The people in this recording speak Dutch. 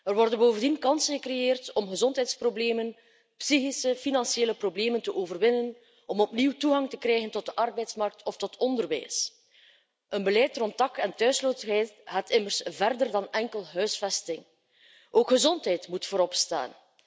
Er worden bovendien kansen gecreëerd om gezondheidsproblemen, psychische en financiële problemen te overwinnen, om opnieuw toegang te krijgen tot de arbeidsmarkt of tot onderwijs. Een beleid rond dak en thuisloosheid gaat immers verder dan enkel huisvesting. Ook gezondheid moet voorop staan.